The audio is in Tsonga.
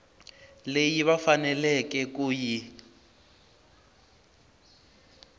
leyi va faneleke ku yi